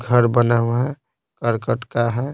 घर बना हुआ है करकट का है।